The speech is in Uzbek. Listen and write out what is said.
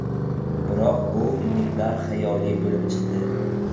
Biroq bu umidlar xayoliy bo‘lib chiqdi.